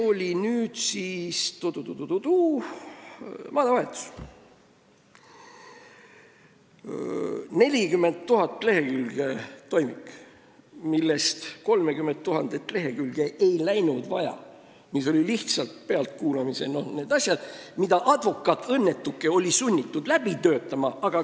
Võtame ühe advokaadi nädalavahetuse: 40 000-leheküljelisest toimikust 30 000 lehekülge ei läinud tal vaja, sest seal olid lihtsalt pealtkuulamise asjad, mille ta, õnnetuke, oli sunnitud läbi töötama.